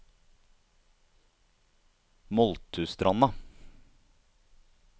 Moldtustranda